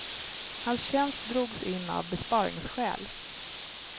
Hans tjänst drogs in av besparingsskäl.